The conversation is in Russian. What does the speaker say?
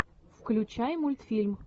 включай мультфильм